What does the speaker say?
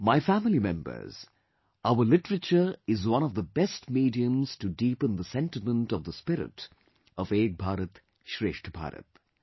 My family members, our literature is one of the best mediums to deepen the sentiment of the spirit of Ek Bharat Shreshtha Bharat